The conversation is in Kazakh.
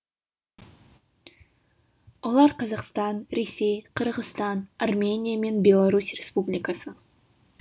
олар қазақстан ресей қырғызстан армения мен беларусь республикасы